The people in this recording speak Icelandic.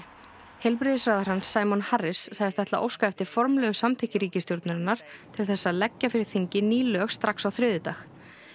heilbrigðisráðherrann Simon Harris sagðist ætla að óska eftir formlegu samþykki ríkistjórnarinnar til þess að leggja fyrir þingið ný lög strax á þriðjudag